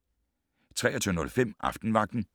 23:05: Aftenvagten